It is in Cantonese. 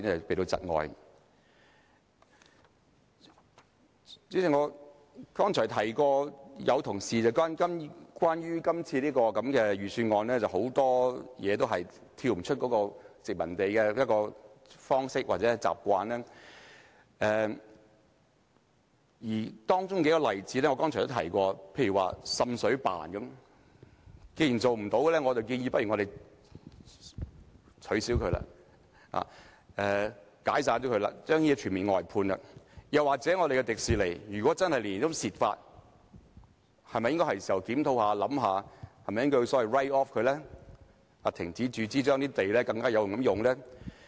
主席，剛才有同事指出，這份預算案很多地方離不開殖民地的處事方式或習慣，有數個例子我剛才亦有提及，例如"滲水辦"，既然其工作無成效，倒不如將其解散，將工作全面外判；又或是香港迪士尼樂園，如果真的年年虧蝕，是否應檢討考慮將之 write off， 停止注資，然後更好地運用土地？